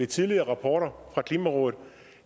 tidligere rapporter fra klimarådet